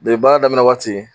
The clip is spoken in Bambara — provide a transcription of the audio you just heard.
baara daminɛ waati